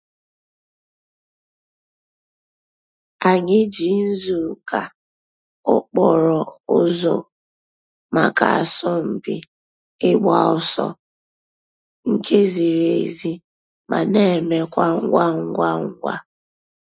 Ànyị̀ jì nzù káa òkpòrò̩ ǔzọ̀ mǎká àsọ̀mpị̀ ị̀gba òsọ̀ nke zìrì èzí ma na emekwa ngwa ngwa ngwa.